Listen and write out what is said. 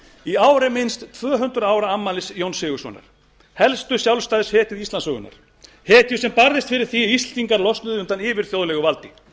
í ár er minnst tvö hundruð ára afmælis jóns sigurðssonar helstu sjálfstæðishetju íslandssögunnar hetju sem barðist fyrir því að íslendingar losnuðu undan yfirþjóðlegu valdi